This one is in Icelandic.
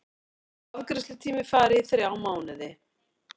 Afgreiðslutími fari í þrjá mánuði